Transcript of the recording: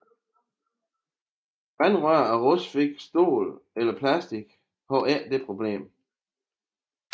Vandrør af rustfrit stål eller plastik har ikke det problem